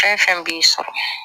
Fɛn fɛn b'i sɔrɔ